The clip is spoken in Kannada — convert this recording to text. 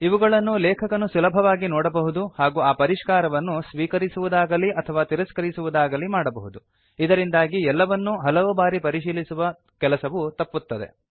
ಇವುಗಳನ್ನು ಲೇಖಕನು ಸುಲಭವಾಗಿ ನೋಡಬಹುದು ಹಾಗೂ ಆ ಪರಿಷ್ಕಾರವನ್ನು ಸ್ವೀಕರಿಸುವುದಾಗಲಿ ಅಥವಾ ತಿರಸ್ಕರಿಸುವುದಾಗಲೀ ಮಾಡಬಹುದು ಇದರಿಂದಾಗಿ ಎಲ್ಲವನ್ನೂ ಹಲವು ಬಾರಿ ಪರಿಶೀಲಿಸುವ ಕೆಲಸವು ತಪ್ಪುತ್ತದೆ